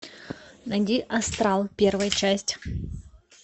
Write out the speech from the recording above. найди астрал первая часть